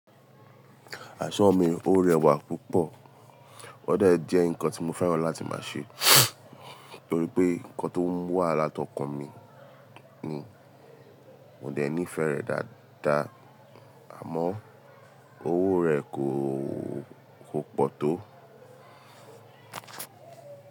Aṣọ mi ò rẹwà púpọ̀, ó de jẹ́ nǹkan tí mo fẹ́ran láti máa ṣe torí pé nǹkan tó ń wà látọkàn mi ni. Mo dà níí fẹ́ rẹ̀ dáadáa, àmọ́ owó rẹ̀ kò, kò pọ̀ tó.